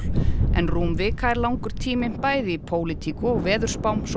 en rúm vika er langur tími bæði í pólitík og veðurspám svo